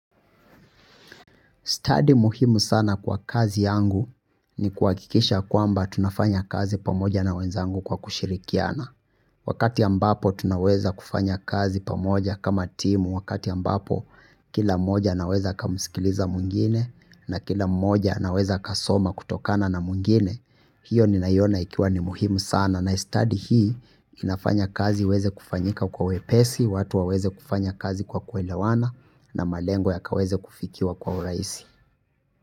Stadi muhimu sana kwa kazi yangu ni kuhakikisha kwamba tunafanya kazi pamoja na wenzangu kwa kushirikiana. Wakati ambapo tunaweza kufanya kazi pamoja kama timu, wakati ambapo kila mmoja anaweza akamsikiliza mwingine na kila moja anaweza akasoma kutokana na mwingine. Hiyo ninaiona ikiwa ni muhimu sana na study hii inafanya kazi iweze kufanyika kwa wepesi, watu waweze kufanya kazi kwa kuelewana na malengo ya kaweze kufikiwa kwa urahisi.